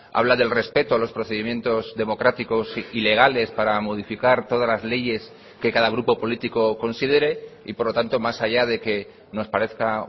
habla del respeto a los procedimientos democráticos y legales para modificar todas las leyes que cada grupo político considere y por lo tanto más allá de que nos parezca